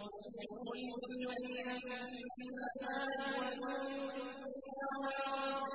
يُولِجُ اللَّيْلَ فِي النَّهَارِ وَيُولِجُ النَّهَارَ